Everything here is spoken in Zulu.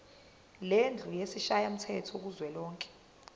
lendlu yesishayamthetho kuzwelonke